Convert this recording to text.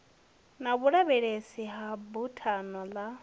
na vhulavhelese ya buthano ḽa